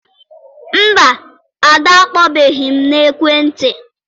Mba, Ada akpọbeghị m n'ekwentị.